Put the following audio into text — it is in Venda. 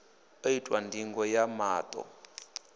ḓo itwa ndingo ya maṱo